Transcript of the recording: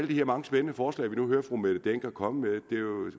de her mange spændende forslag vi nu hører fru mette hjermind dencker komme med